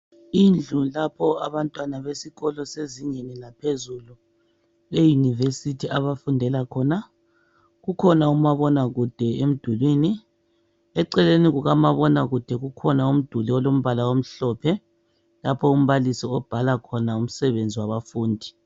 Indlu lapho abantwana besikolo sezingeni laphezulu eUniversity abafundela khona, ukhona uma bona kude emdulini, eceleni kukama bonakude kukhona umduli olombala omhlophe, lapho umbalisi obhala khona umsebenzi wabafundi.